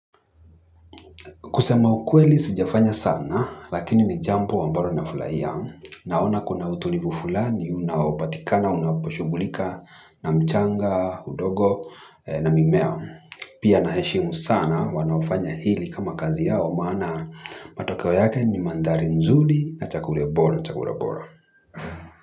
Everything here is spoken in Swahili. Kusema ukweli sijafanya sana, lakini ni jambo ambalo nafurahia, naona kuna utulivu fulani unaopatikana unaposhughulika na mchanga, udongo na mimea. Pia naheshimu sana wanaofanya hili kama kazi yao, maana matokeo yake ni mandhari mzuri na chakula bora, chakula bora.